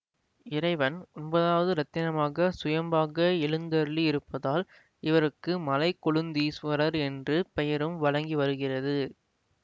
இறைவன் ஒன்பதாவது இரத்தினமாக சுயம்பாக எழுந்தருளி இருப்பதால் இவருக்கு மலைக்கொழுந்தீஸ்வரர் என்று பெயரும் வழங்கி வருகிறது